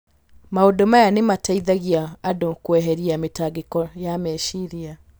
Maũndũ maya nĩ mateithagia andũ kweheria mĩtangĩko ya meciria.